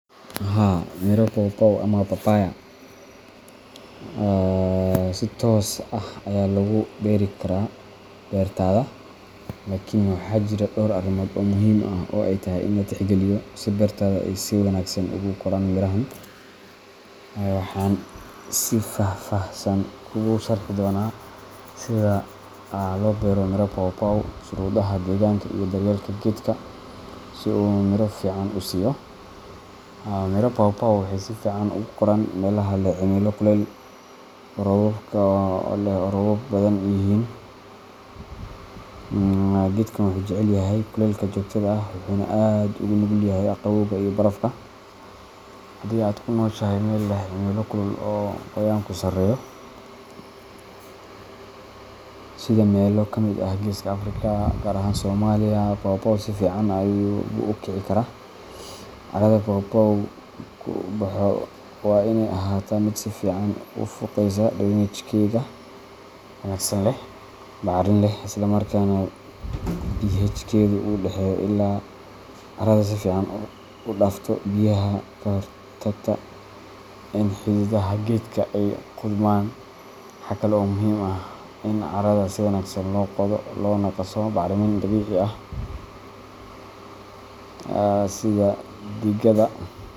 Haa, miro pawpaw ama papaya si toos ah ayaa loogu beeri karaa bertada, laakiin waxaa jira dhowr arrimood oo muhiim ah oo ay tahay in la tixgeliyo si beertaada ay si wanaagsan ugu koraan mirahan. Waxaan si faahfaahsan kuugu sharxi doonaa sida loo beero miro pawpaw, shuruudaha deegaanka, iyo daryeelka geedka si uu miro fiican u siiyo. Miro pawpaw waxay si fiican ugu koraan meelaha leh cimilo kuleyl leh oo roobabku badan yihiin. Geedkan wuxuu jecel yahay kulaylka joogtada ah wuxuuna aad ugu nugul yahay qabowga iyo barafka. Haddii aad ku nooshahay meel leh cimilo kulul oo qoyaanku sarreeyo sida meelo ka mid ah Geeska Afrika, gaar ahaan Soomaaliya, pawpaw si fiican buu u kici karaa. Carrada pawpaw-gu ku baxo waa inay ahaataa mid si fiican u fuuqaysa drainageka wanaagsan leh, bacrin ah, isla markaana pH-keedu u dhexeeyo ilaa Carrada si fiican u dhaafto biyaha ayaa ka hortagta in xididaha geedka ay qudhmaan. Waxa kale oo muhiim ah in carrada si wanaagsan loo qodo loona qaso bacrimin dabiici ah sida digada.